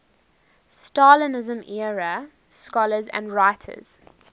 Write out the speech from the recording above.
stalinism era scholars and writers